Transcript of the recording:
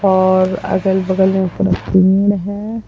और अगल-बगल में पूरा पेड़ है ।